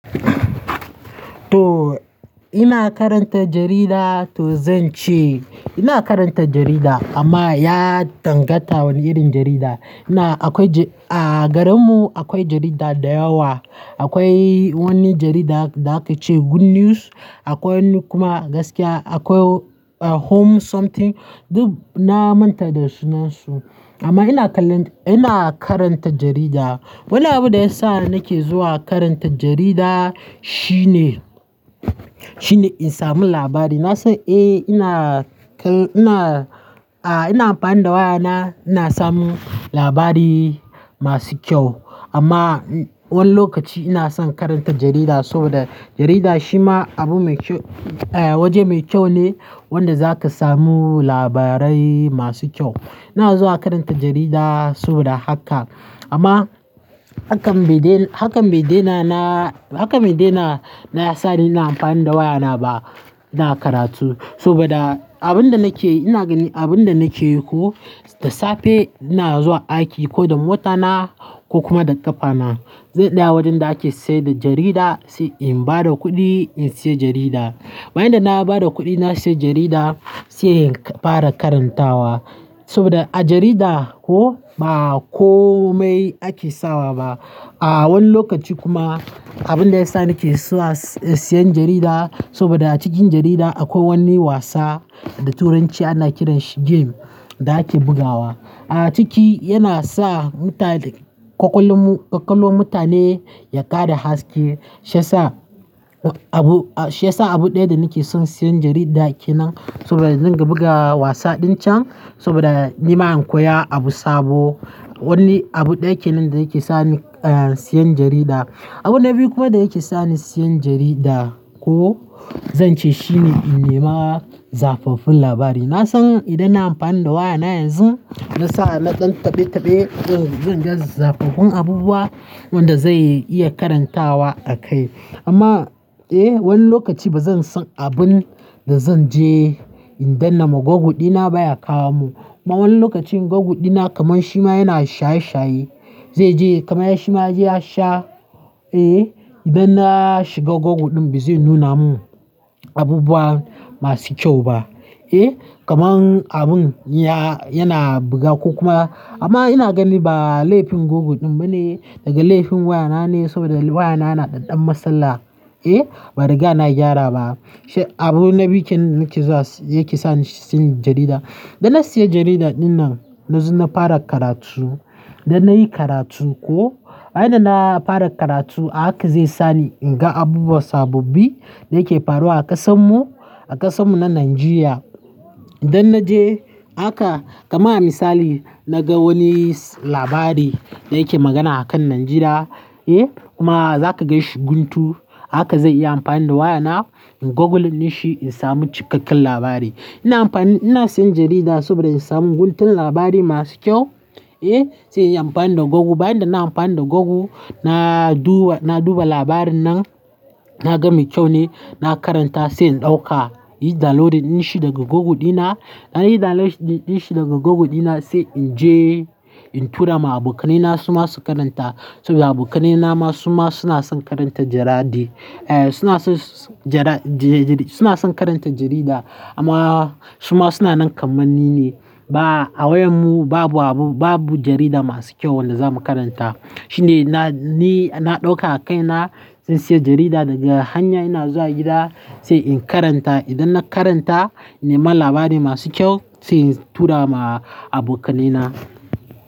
To ina karanta jarida, to zan ce ina karanta jarida amma ya dangata wani irin jarida. Ina akwai a garinmu, akwai jarida da yawa. Akwai wani jarida da aka ce Good News, akwai kuma gaskiya akwai Home something, duk na manta da sunansu. Amma ina kaland, ina karanta jarida. Wani abu da ya sa nake zuwa karanta jarida shine, shine in sami labari. Na san eh ina kal, ina a ina amfani da wayana ina samun labari masu kyau. Amma wani lokaci ina son karanta jarida saboda jarida shi ma abu mai kyau, eh, waje mai kyau ne wanda zaka samu labarai masu kyau. Ina zuwa karanta jarida saboda haka. Amma hakan bai daina, hakan bai daina na, hakan bai daina na ya sa ni ina amfani da wayana ba, ina karatu saboda abin da nake, ina gani abin da nake yi ko, da safe ina zuwa aiki ko da mota na ko kuma da ƙafa na. Zan tsaya wurin da ake sayar da jarida, sai in bada kuɗi in sayi jarida. Bayan da na bada kuɗi na sayi jarida, sai in fara karantawa saboda a jarida ko, ba komai ake sawa ba. A wani lokaci kuma, abin da ya sa nake zuwa siyan jarida saboda a cikin jarida akwai wani wasa da Turanci ana kiran shi game, da ake bugawa. A ciki yana sa mutane kwakwalu, kwakwalon mutane ya ƙara haske shiyasa abu, shi yasa abu ɗaya da nake son siyan jarida kenan saboda zan ga buga wasa din can saboda ni ma in koya abu sabo. Wani abu ɗaya kenan da yake sa ni siyan jarida. Abu na biyu kuma da yake sa ni siyan jarida ko, zan ce shine in nema zafafun labari. Na san idan na amfani da wayana yanzu, na sa na ɗan tabe-tabe, eh, zan ga zafafun abubuwan wanda zan iya karantawa a kai. Amma eh wani lokaci bazan san abin da zan je in dannama Google dina ba ya kawo mu. Ma wani lokacin Google dina kamar shi ma yana shaye-shaye. Zai je, kamar shi ma ya je ya sha, eh idan na shiga Google ɗin ba zai nuna mun abubuwa masu kyau ba. Eh kamar abun ya, yana buga ko kuma, amma ina gani ba laifin Google ɗin ba ne daga laifin wayana ne saboda wayana na ɗanɗan masala. Eh ba riga na gyara ba. Shi abun na bikin nake zuwa yake sa ni in sayi jarida. Da na sayi jarida dinnan na zo na fara karatu. Da na yi karatu ko, bayan da na fara karatu haka zai sa ni in ga abubuwa sababbi da yake faruwa a ƙasan mu, a ƙasan mu na Najeriya. Idan na je haka, kama misali na ga wani labari da yake magana akan Najeriya, eh kuma zaka gaishi guntu haka zai iya amfani da waya na in Google ninshi in samu cikakken labari. Ina amfani, ina sayan jarida saboda in samu guntun labarai masu kyau. Eh sai in yi amfani da Google, bayan da na yi amfani da Google na duba, na duba labarin nan na ga mai kyau ne na karanta sai in ɗauka. Yi downloading in shi daga Google dina, idan downloadin in shi daga Google dina sai in je in tura ma abokanai na su ma su karanta saboda abokanai na ma su ma suna son karanta jaradi. Eh suna son jara, suna son karanta jarida amma su ma suna nan kamar ni ne. Ba a wayan mu babu abu, babu jarida masu kyau wanda za mu karanta. Shine na, ni na ɗauka a kaina in sayi jarida daga hanya ina zuwa gida sai in karanta. Idan na karanta, in nema labarai masu kyau sai in tura ma abokanai na.